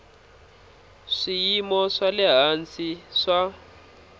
swiyimo swa le hansi swa